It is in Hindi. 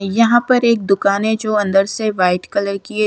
यहां पर एक दुकान है जो अंदर से वाइट कलर की है ।